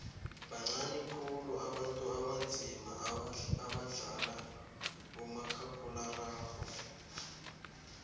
bancani khulu abantu abanzima abadlala umakhakhulararhwe